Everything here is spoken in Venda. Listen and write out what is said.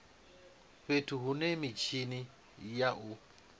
fhethu hune mitshini ya u